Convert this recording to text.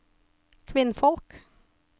kvinnfolk